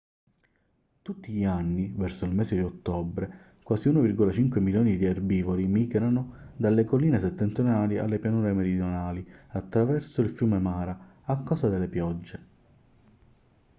tutti gli anni verso il mese di ottobre quasi 1,5 milioni di erbivori migrano dalle colline settentrionali alle pianure meridionali attraverso il fiume mara a causa delle piogge